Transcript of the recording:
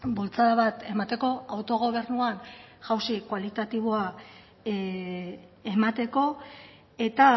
bultzada bat emateko autogobernuan jausi kualitatiboa emateko eta